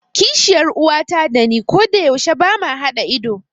Kishiyar uwata dani kodayaushe bama haɗa ido.